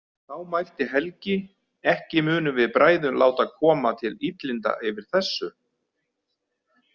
Þá mælti Helgi: „Ekki munum við bræður láta koma til illinda yfir þessu“